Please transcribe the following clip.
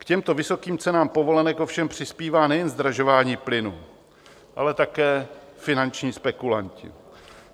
K těmto vysokým cenám povolenek ovšem přispívá nejen zdražování plynu, ale také finanční spekulanti.